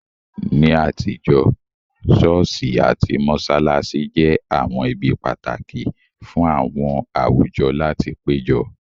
Ní àtijọ́, ṣọ́ọ̀ṣì àti mọ́ṣáláṣí jẹ́ àwọn ibi pàtàkì fún àwọn àwùjọ láti péjọ